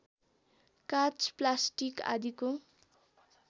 काँच प्लास्टिक आदिको